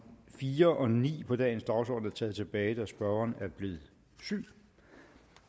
fire og ni på dagens dagsorden er taget tilbage da spørgeren er blevet syg